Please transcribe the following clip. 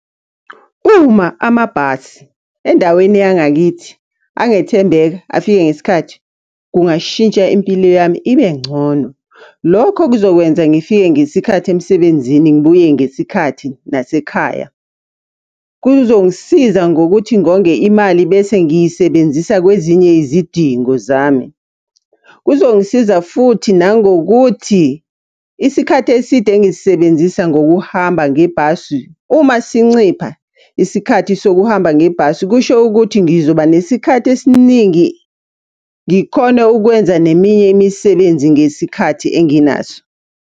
Uma amabhasi endaweni yangakithi angethembeka, afike ngesikhathi, kungashintsha impilo yami ibe ngcono. Lokho kuzokwenza ngifike ngesikhathi emsebenzini ngibuye ngesikhathi nasekhaya. Kuzongisiza ngokuthi ngonge imali bese ngiyisebenzisa kwezinye izidingo zami. Kuzongisiza futhi nangokuthi isikhathi eside engisisebenzisa ngokuhamba ngebhasi, uma sincipha isikhathi sokuhamba ngebhasi, kusho ukuthi ngizoba nesikhathi esiningi ngikhone ukwenza neminye imisebenzi ngesikhathi enginaso.